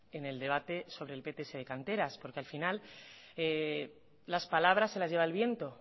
en el debate sobre el pts de canteras porque al final las palabras se las lleva el viento